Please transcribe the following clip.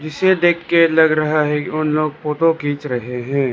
इसे देख के लग रहा है उन लोग फोटो खींच रहे हैं।